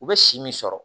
U bɛ si min sɔrɔ